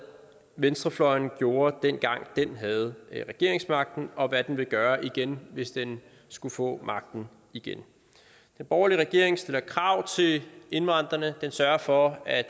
venstrefløjen gjorde dengang den havde regeringsmagten og hvad den vil gøre igen hvis den skulle få magten igen den borgerlige regering stiller krav til indvandrerne den sørger for at